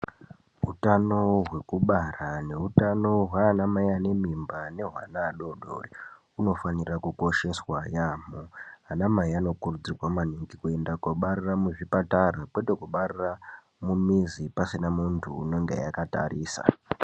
Hutano hwekubara nehutano hwaanamai anemimba nehweana adodori hwunofanira kukosheswa yaamho. Anamai anokurudzirwa maningo kuenda kobarira muzvipatara, kwete kubarira mumizi pasina muntu unenge akatarisa.